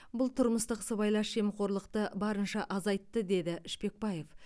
бұл тұрмыстық сыбайлас жемқорлықты барынша азайтты деді шпекбаев